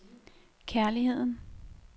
kærligheden